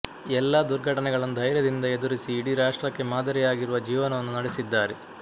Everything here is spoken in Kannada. ಎಲ್ಲ ದುರ್ಘಟನೆಗಳನ್ನು ಧೈರ್ಯದಿಂದ ಎದುರಿಸಿ ಇಡೀ ರಾಷ್ಟ್ರಕ್ಕೆ ಮಾದರಿಯಾಗಿರುವ ಜೀವನವನ್ನು ನಡೆಸಿದ್ದಾರೆ